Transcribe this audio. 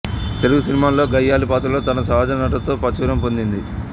తెలుగు సినిమాల్లో గయ్యాళి పాత్రల్లో తన సహజ నటనతో ప్రాచుర్యం పొందింది